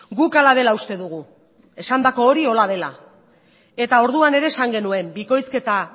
guk hala dela uste dugu esandako hori horrela dela eta orduan ere esan genuen bikoizketa